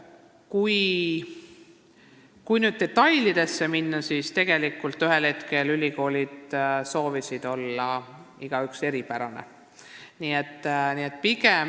Kui nüüd detailidesse minna, siis ühel hetkel soovisid ülikoolid ikkagi eripärased olla.